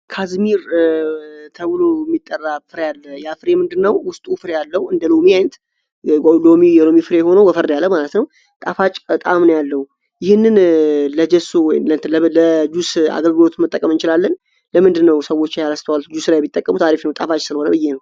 ካዝሚር ተውሎ ሚጠራብፍራ ያለ የአፍሬ የምንድነው ውስጥ ዑፍር ያለው እንደ ሎሚንት ዶሚ የሮሚፍሬ የሆነው ወፈርድ ያለው ማነትነው ጣፋጭ ቃምን ያለው ይህን ለጁስ አገርግሮት መጠቀም እችላለን ለምንድነው ሰዎች ያለስቷዋል ጁስራይ ቢጠቀሙት አሪፍ ነው ጣፋጭ ስለሆነ ብዬ ነው